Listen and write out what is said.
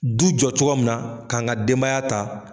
Du jɔ cogo ya munna k'an ka denbaya ta.